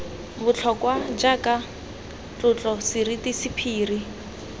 botlhokwa jaaka tlotlo seriti sephiri